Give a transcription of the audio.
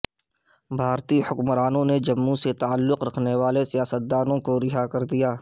بھارتی حکومت نے جموں سے تعلق رکھنے والے سیاست دانوں کو رہا کر دیا